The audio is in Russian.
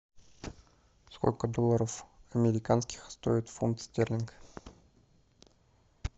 сколько долларов американских стоит фунт стерлинг